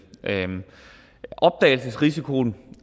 opdagelsesrisikoen